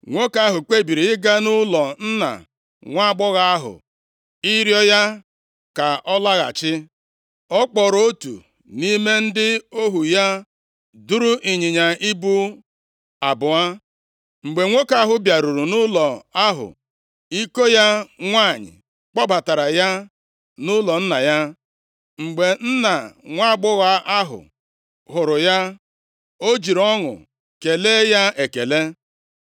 Nwoke ahụ kpebiri ịga nʼụlọ nna nwaagbọghọ ahụ ịrịọ ya ka ọ lọghachi. Ọ kpọọrọ otu nʼime ndị ohu ya, duru ịnyịnya ibu abụọ. Mgbe nwoke ahụ bịaruru nʼụlọ ahụ, iko ya nwanyị kpọbatara ya nʼụlọ nna ya. Mgbe nna nwaagbọghọ ahụ hụrụ ya, o jiri ọṅụ kelee ya ekele.